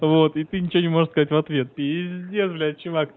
вот и ты ничего не можешь сказать в ответ пиздец блять чувак